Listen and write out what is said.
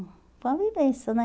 Foi uma vivência, né?